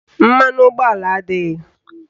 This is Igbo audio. Mmanụ ụgbọala adịghị